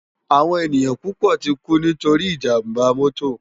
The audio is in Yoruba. Áwòn éniyàn púpò tikú nitóri ijàmbá mòtó